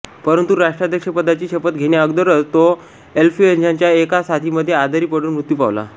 परंतु राष्ट्राध्यक्षपदाची शपथ घेण्याअगोदरच तो इंफ्लुएंझाच्या एका साथीमध्ये आजारी पडून मृत्यू पावला